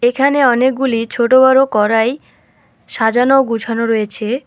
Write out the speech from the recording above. এখানে অনেকগুলি ছোটবড় কড়াই সাজানো গোছানো রয়েছে।